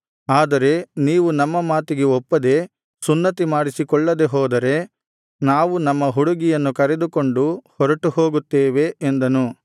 ಆದರೆ ನೀವು ನಮ್ಮ ಮಾತಿಗೆ ಒಪ್ಪದೆ ಸುನ್ನತಿ ಮಾಡಿಸಿಕೊಳ್ಳದೆ ಹೋದರೆ ನಾವು ನಮ್ಮ ಹುಡುಗಿಯನ್ನು ಕರೆದುಕೊಂಡು ಹೊರಟು ಹೋಗುತ್ತೇವೆ ಎಂದನು